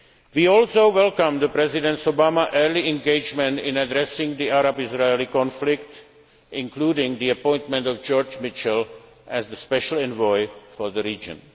of Guantánamo. We also welcome President Obama's early engagement in addressing the Arab Israeli conflict, including the appointment of George Mitchell as the special envoy